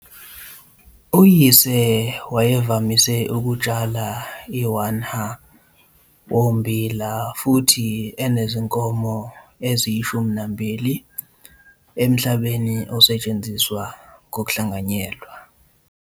Uyise wayevamise ukutshala i-1 ha wommbila futhi enezinkomo eziyishumi nambili emhlabeni osetshenziswa ngokuhlanganyelwa.